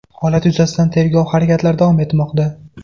Holat yuzasidan tergov harakatlari davom etmoqda.